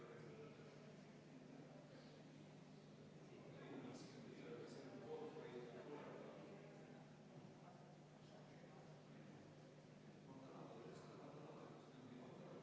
Ma tahaksin teada, kas head kolleegid on valmis selleks ülimalt pingutavaks katsumuseks, mis meid ees ootab.